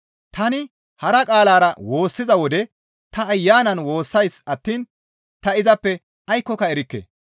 Tani hara qaalara woossiza wode ta Ayanan woossays attiin ta izappe aykkoka erikke.